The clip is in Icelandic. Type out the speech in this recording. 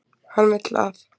Hann vill að